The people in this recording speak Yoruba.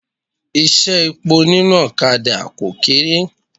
Iṣẹ́ epo nínú ọ̀kadà kò kéré.